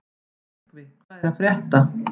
Nökkvi, hvað er að frétta?